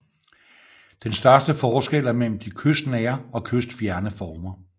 Den største forskel er mellem de kystnære og kystfjerne former